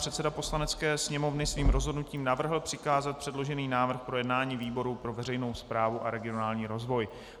Předseda Poslanecké sněmovny svým rozhodnutím navrhl přikázat předložený návrh k projednání výboru pro veřejnou správu a regionální rozvoj.